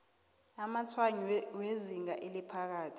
amatshwayo wezinga eliphakathi